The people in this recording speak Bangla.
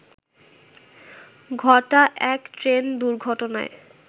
ঘটা এক ট্রেন দুর্ঘটনায়